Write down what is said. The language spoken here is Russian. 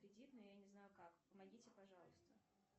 кредит но я не знаю как помогите пожалуйста